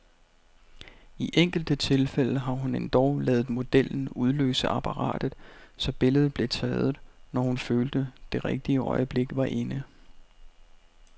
I enkelte tilfælde har hun endog ladet modellen udløse apparatet, så billedet blev taget, når hun følte, det rigtige øjeblik var inde.